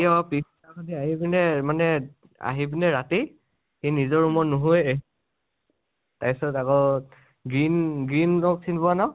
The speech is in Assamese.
সি আৰু পিছ্দিনাখন আহি পিনে মানে আহি পিনে ৰাতি সি নিজৰ room ত নুশুৱেই । তাৰপিচত আকৌ green, green rock চিনি পোৱা ন?